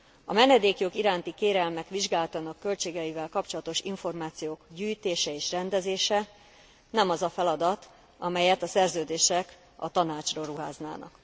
A menedékjog iránti kérelmek vizsgálatának költségeivel kapcsolatos információk gyűjtése és rendezése nem az a feladat, amelyet a Szerződések a Tanácsra ruháznának.